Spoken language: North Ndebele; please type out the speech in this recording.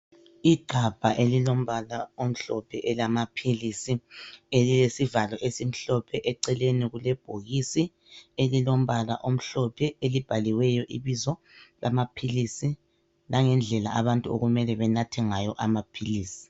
Igabha elilombala omhlophe elamaphilisi elilesivalo esimhlophe eceleni kulebhokisi elilombala omhlophe elibhaliweyo ibizo lamaphilisi lange ndlela abantu okumele benathe ngayo amaphilisi.